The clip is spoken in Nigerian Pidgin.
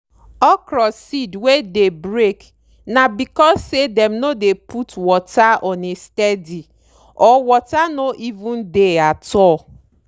okro seed wey dey break na becos say dem no dey put water on a steady or water no even dey at all.